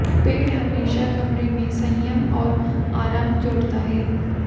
पेड़ हमेशा कमरे में संयम और आराम जोड़ता है